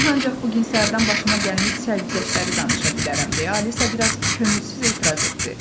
Mən ancaq bu gün səhərdən başıma gəlmiş sərgüzəştləri danışa bilərəm deyə Alisa biraz könülsüz etiraz etdi.